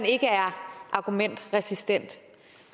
ikke er argumentresistent